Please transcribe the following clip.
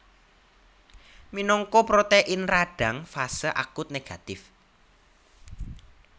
Minangka protein radang fase akut négatif